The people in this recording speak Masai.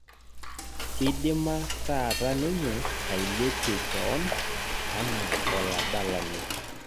Idima taata ninye ailepie keon anaa oladalani